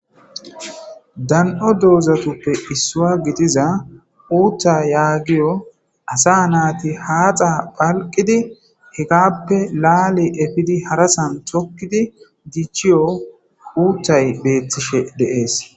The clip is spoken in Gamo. Dan'o doozatuppe issua gidiza uutta yaagiyo asa naati haaxa phalqidi higappe laale efidi harasan chokkidi dichiyo huuttay beettishe deees.